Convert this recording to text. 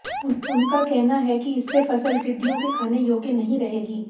उनका कहना है कि इससे फसल टिड्डियों के खाने योग्य नहीं रहेगी